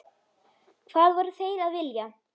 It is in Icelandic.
Hvað voru þeir að vilja?